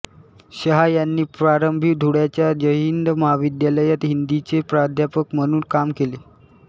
शहा यांनी प्रारंभी धुळ्याच्या जयहिंद महाविद्यालयात हिंदीचे प्राध्यापक म्हणून काम केले